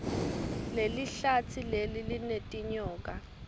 lelihlatsi leli linetinyoka